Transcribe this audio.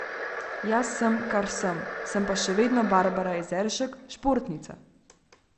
Jaz sem, kar sem, sem pa še vedno Barbara Jezeršek, športnica.